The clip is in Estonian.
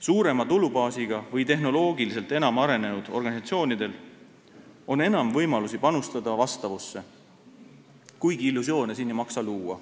Suurema tulubaasiga või tehnoloogiliselt enam arenenud organisatsioonidel on enam võimalusi panustada vastavusse, kuigi illusioone ei maksa siin luua.